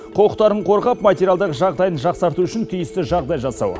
құқтарын қорғап материалдық жағдайын жақсарту үшін тиісті жағдай жасау